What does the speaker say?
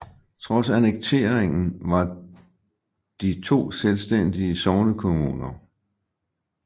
Trods annekteringen var de to selvstændige sognekommuner